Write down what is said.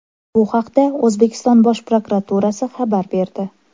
Bu haqda O‘zbekiston Bosh prokuraturasi xabar berdi .